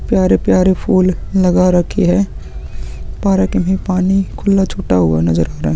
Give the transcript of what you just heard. प्यारे-प्यारे फूल लगा रखी है पार्क में पानी खुला छूटा हुआ नजर आ रहा है।